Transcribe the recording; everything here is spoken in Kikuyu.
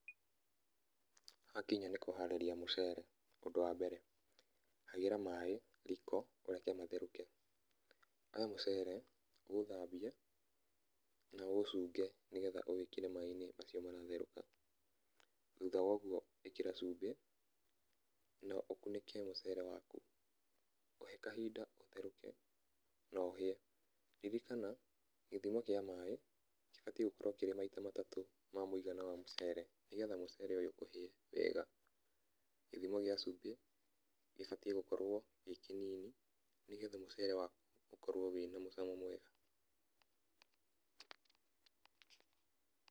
Hakinya nĩ kũharĩria mũcere, ũndũ wa mbere hagĩra maĩ riko ũreke matherũke, Oya mũcere, ũũthambie na ũũcunge, nĩgetha ũwĩkĩre maĩ-inĩ macio maratherũka. Thũtha wa ũguo ĩkĩra cumbĩ na ũkunĩke mũcere waku, Ũhe kahinda ũtherũke na ũhĩe, ririkana gĩthimo kĩa maĩ gĩbatiĩ gũkorwo kĩrĩ maita matatũ ma mũigana wa mũcere nĩgetha mũcere ũyũ ũhĩe wega. Gĩthimo gĩa cumbĩ gĩbatiĩ gũkorwo gĩ kĩnini nĩgetha mũcere waku ũkorwo wĩna mũcamo mwega.